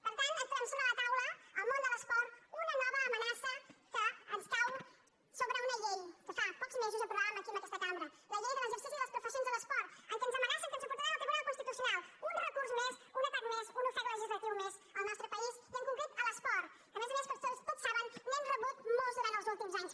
per tant ens trobem sobre la taula el món de l’esport una nova amenaça que ens cau sobre una llei que fa pocs mesos aprovàvem aquí en aquesta cambra la llei de l’exercici de les professions de l’esport que ens amenacen que ens la portaran al tribunal constitucional un recurs més un atac més un ofec legislatiu més al nostre país i en concret a l’esport que a més a més com tots saben n’hem rebut molts durant els últims anys